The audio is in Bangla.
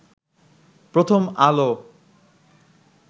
প্রথম আলো